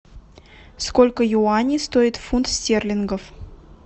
сколько юаней стоит фунт стерлингов